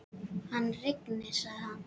Hann rignir, sagði hann.